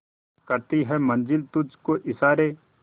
करती है मंजिल तुझ को इशारे